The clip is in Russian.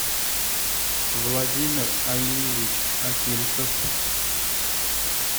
владимир алиевич акимцев